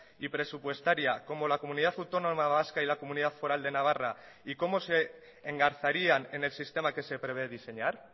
y presupuestaria como la comunidad autónoma vasca y la comunidad foral de navarra y cómo se engarzarían en el sistema que se prevé diseñar